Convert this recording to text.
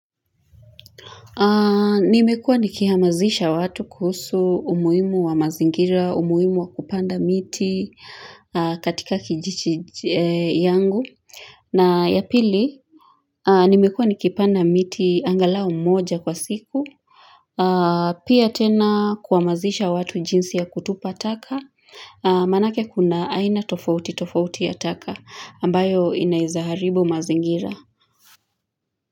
Nimekua nikihamasisha watu kuhusu umuhimu wa mazingira, umuhimu wa kupanda miti katika kijiji yangu. Na ya pili, nimekua nikipanda miti angalau mmoja kwa siku. Pia tena kuhamasisha watu jinsi ya kutupa taka. Manake kuna aina tofauti tofauti ya taka ambayo inaeza haribu mazingira.